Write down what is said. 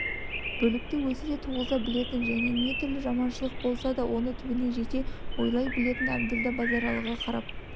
бүлікті өзі де туғыза білетін және не түрлі жаманшылық болса оны түбіне жете ойлай білетін әбділда базаралыға қарап